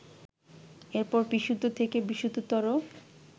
এরপর বিশুদ্ধ থেকে বিশুদ্ধতর